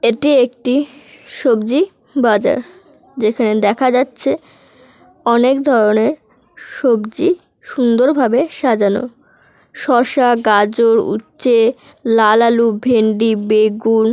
এটি একটি সবজি বাজার। যেখানে দেখা যাচ্ছে অনেক ধরনের সবজি সুন্দরভাবে সাজানো। শসা গাজর উচ্ছে লাল আলু ভেন্ডি বেগুন--